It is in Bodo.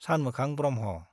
सानमोखां ब्रह्म।